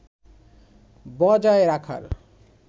বজায় রাখার